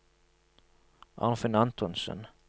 Arnfinn Antonsen